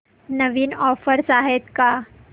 नवीन offers आहेत का